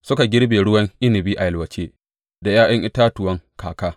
Suka girbe ruwan inabi a yalwace da ’ya’yan itatuwan kaka.